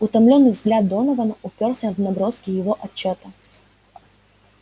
утомлённый взгляд донована упёрся в наброски его отчёта